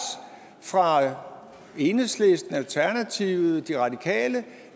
fra enhedslisten alternativet og de radikale